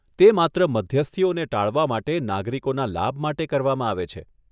તે માત્ર મધ્યસ્થીઓને ટાળવા માટે નાગરિકોના લાભ માટે કરવામાં આવે છે.